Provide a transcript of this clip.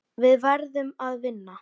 Við verðum að vinna.